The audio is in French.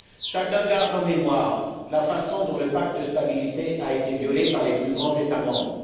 Chacun garde en mémoire la façon dont le Pacte de stabilité a été violé par les plus grands États membres.